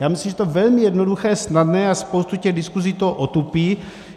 Já myslím, že to je velmi jednoduché, snadné a spoustu těch diskuzí to otupí.